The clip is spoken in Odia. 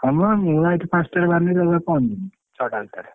ହମ ବା ମୁଁ ଏଠୁ ପାଞ୍ଚ ଟାରୁ ବାହାରି ପହଞ୍ଚି ଯିବି ଛଅ ଟା ଭିତରେ।